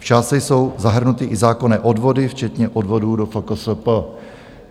V částce jsou zahrnuty i zákonné odvody včetně odvodů do FKSP.